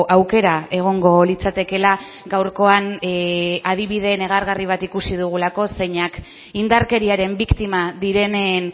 aukera egongo litzatekela gaurkoan adibide negargarri bat ikusi dugulako zeinak indarkeriaren biktima direnen